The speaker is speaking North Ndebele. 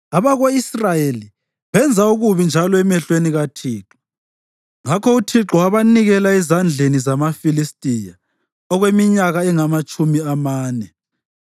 Abako-Israyeli benza okubi njalo emehlweni kaThixo, ngakho uThixo wabanikela ezandleni zamaFilistiya okweminyaka engamatshumi amane.